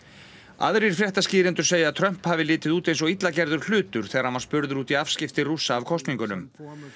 aðrir fréttaskýrendur segja að Trump hafi litið út eins illa gerður hlutur þegar hann var spurður út í afskipti Rússa af kosningunum